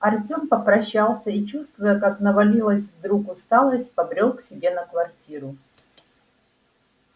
артём попрощался и чувствуя как навалилась вдруг усталость побрёл к себе на квартиру